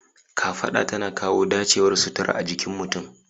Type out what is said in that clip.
Kafaɗa tana kawo dacewar sutura a jikin mutum.